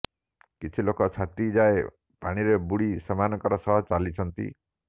କିଛି ଲୋକ ଛାତି ଯାଏ ପାଣିରେ ବୁଡି ସେମାନଙ୍କ ସହ ଚାଲିଛନ୍ତି